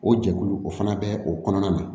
O jɛkulu o fana bɛ o kɔnɔna na